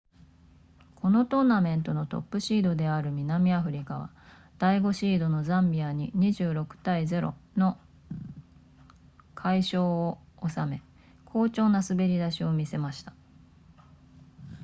このトーナメントのトップシードである南アフリカは第5シードのザンビアに 26-00 の快勝を収め好調な滑り出しを見せました